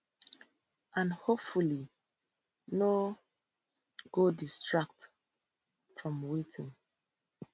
and hopefully no go distract from wetin